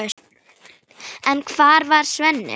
En hvar var Svenni?